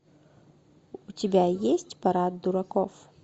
у тебя есть парад дураков